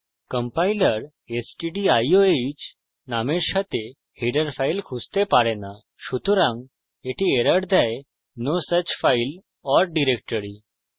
compiler stdioh নামের সাথে header file খুঁজতে পারে no সুতরাং the error দেয় the no such file or directory